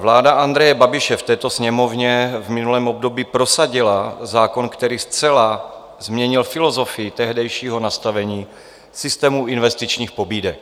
Vláda Andreje Babiše v této Sněmovně v minulém období prosadila zákon, který zcela změnil filozofii tehdejšího nastavení systému investičních pobídek.